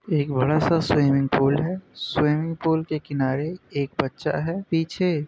एक बड़ा सा स्विमिंग पूल है। स्विमिंग पूल के किनारे एक बच्चा है पीछे--